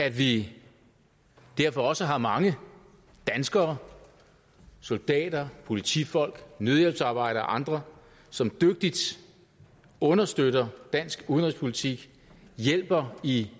at vi derfor også har mange danskere soldater politifolk nødhjælpsarbejdere og andre som dygtigt understøtter dansk udenrigspolitik og hjælper i